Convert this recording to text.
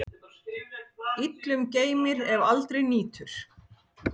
Illum geymir, ef aldrei nýtur.